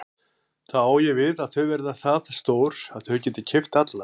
Þá á ég við að þau verða það stór að þau geti keypt alla?